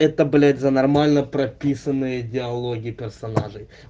это блять за нормально прописанные диалоги персонажей